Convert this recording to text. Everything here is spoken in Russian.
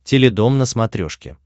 теледом на смотрешке